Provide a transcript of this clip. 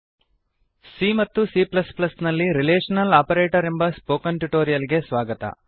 c ಮತ್ತು c ನಲ್ಲಿ relational operator ಎಂಬ ಸ್ಪೋಕನ್ ಟ್ಯುಟೋರಿಯಲ್ ಗೆ ಸ್ವಾಗತ